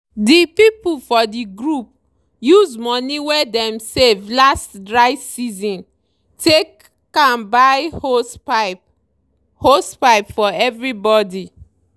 the people for the group use money wey dem save last dry season take am buy hosepipe hosepipe for everybody